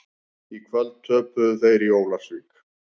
Í kvöld töpuðu þeir í Ólafsvík.